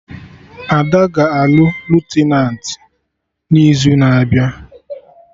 Ada ga-alụ Lutenat n'izu na-abịa